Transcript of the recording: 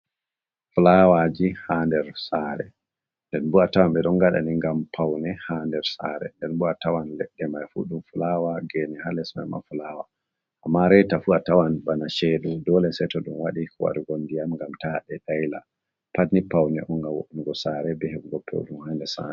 Fulawaji ha nder sare den bo a tawan ɓe ɗon ngaɗa ni ngam paune ha nder sare nden bo’a tawan leɗɗe mai fu ɗum fulawa gene ha les mai ma fulawa, amma raita fu a tawan bana shedu dole seto ɗum wadi ka waɗu go ndiyam ngam ta ɗe daila, pat ni paune on ngam wo'un go sare be he ɓugo peuɗum ha nder sare.